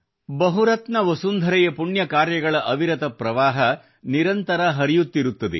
ಬಹುರತ್ನ ವಸುಂಧರೆಯ ಪುಣ್ಯ ಕಾರ್ಯಗಳ ಅವಿರತ ಪ್ರವಾಹ ನಿರಂತರ ಹರಿಯುತ್ತಿರುತ್ತದೆ